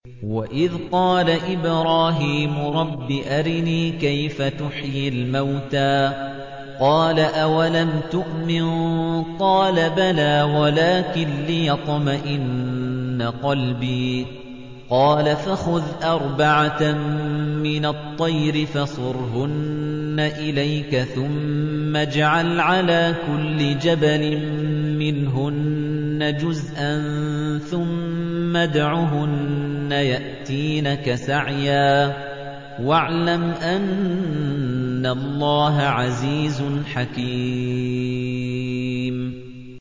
وَإِذْ قَالَ إِبْرَاهِيمُ رَبِّ أَرِنِي كَيْفَ تُحْيِي الْمَوْتَىٰ ۖ قَالَ أَوَلَمْ تُؤْمِن ۖ قَالَ بَلَىٰ وَلَٰكِن لِّيَطْمَئِنَّ قَلْبِي ۖ قَالَ فَخُذْ أَرْبَعَةً مِّنَ الطَّيْرِ فَصُرْهُنَّ إِلَيْكَ ثُمَّ اجْعَلْ عَلَىٰ كُلِّ جَبَلٍ مِّنْهُنَّ جُزْءًا ثُمَّ ادْعُهُنَّ يَأْتِينَكَ سَعْيًا ۚ وَاعْلَمْ أَنَّ اللَّهَ عَزِيزٌ حَكِيمٌ